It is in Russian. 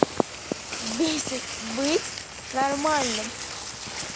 бесит быть нормальным